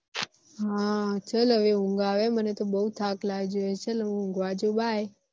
હા ચલ હવે ઉન્ગ આવે મને તો બહુ થાક લાગ્યો હે ચલ હું ઉન્ગવા જવું bye